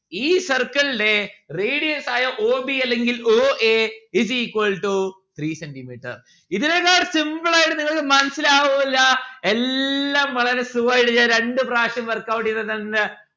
ഈ circle ലെ radius ആയ o b അല്ലെങ്കിൽ o a is equal to three centi metre ഇതിനേക്കാൾ simple ആയിട്ട് നിങ്ങൾക്ക് മനസ്സിലാവുല്ലാ എല്ലാം വളരെ slow ആയിട്ട് ഞാൻ രണ്ടു പ്രാവശ്യം workout എയ്ത തന്ന്